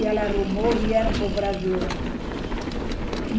E ela arrumou, vieram para o Brasil.